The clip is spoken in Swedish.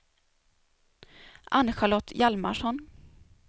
Ann-Charlotte Hjalmarsson